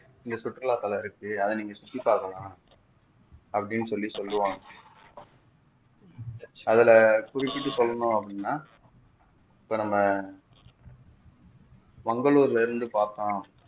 இங்க சுற்றுலாத்தலம் இருக்கு அத நீங்க சுற்றி பார்க்கலாம் அப்படின்னு சொல்லி சொல்லுவாங்க அதுல குறிப்பிட்டு சொல்லணும் அப்படின்னா இப்ப நம்ம மங்களூர்ல இருந்து பார்த்தோம்